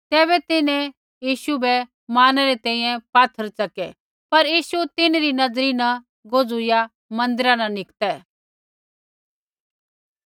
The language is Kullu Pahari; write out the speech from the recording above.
तैबै तिन्हैं यीशु बै मारणै री तैंईंयैं पात्थर च़कै पर यीशु तिन्हरी नज़री न गोजुईया मन्दिरा न निकतै